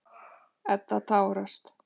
Edda tárast.